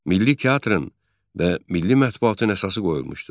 Milli teatrın və milli mətbuatın əsası qoyulmuşdu.